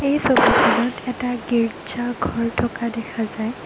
এই ছবিখনত এটা গীৰ্জা ঘৰ থকা দেখা যায়।